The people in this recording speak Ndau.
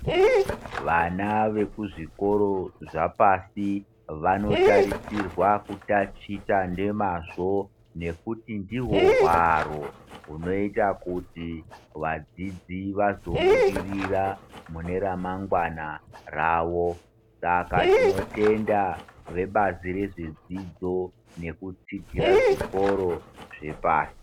Vana vekuzvikoro zvapasi, vanotarisirwa kutatita nemazvo ,ngekuti ndihwo hwaro ,hunoita kuti vadzidzi vazobudirira mune ramangwani rawo. Saka tinotenda vebazi rezvedzidzo kudzidzira zvikoro zvepasi.